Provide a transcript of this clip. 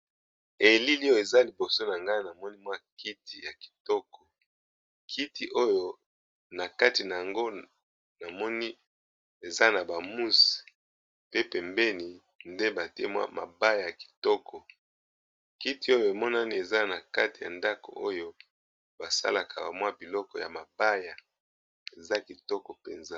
Elili eza liboso na nga namoni kiti ya kitoko nakati eza na ba mousse pembeni batye mabaya eza nakati ya ndako basalelaka biloko ya mabaya eza kitoko penza.